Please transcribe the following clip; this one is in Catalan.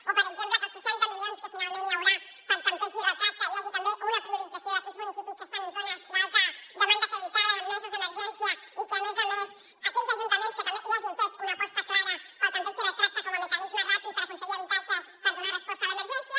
o per exemple que amb els seixanta milions que finalment hi haurà per a tempteig i retracte hi hagi també una priorització d’aquells municipis que estan en zones d’alta demanda acreditada amb meses d’emergència i a més a més aquells ajuntaments que també hagin fet una aposta clara pel tempteig i retracte com a mecanisme ràpid per aconseguir habitatges per donar resposta a l’emergència